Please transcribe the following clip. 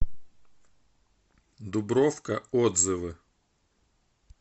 дубровка отзывы